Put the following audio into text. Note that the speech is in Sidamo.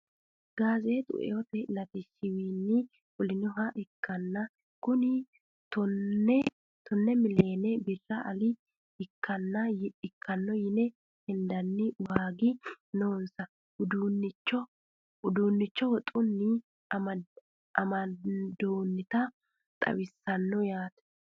gaazeexu eote latishshiwiinni fulinoha ikkanna kunino tonne miileene birri ale ikkanno yine hendani waagi noonsa uduunnicho wotunni amandoonita xawisannoho yaate.